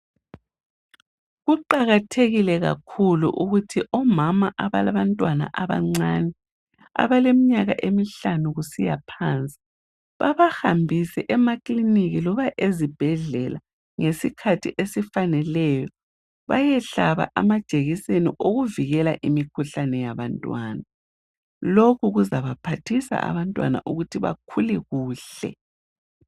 Kuqakathekile kakhulu ukuthi omama abalabantwana abancane, abaleminyaka emihlanu kusiya phansi, babahambise emakilinika loba ezibhedlela ngesikhathi esifaneleyo. Bayehlaba amajekiseni okuvikela imikhuhlane yabantwana. Lokhu kuzabaphathisa abantwana ukuthi bakhule kuhle.